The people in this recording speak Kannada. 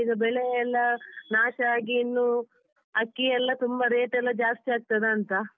ಮತ್ತೀಗ ಬೆಳೆಯೆಲ್ಲ ನಾಶ ಆಗಿ ಇನ್ನು ಅಕ್ಕಿ ಎಲ್ಲ ತುಂಬಾ rate ಎಲ್ಲ ಜಾಸ್ತಿಯಾಗ್ತದಾಂತ.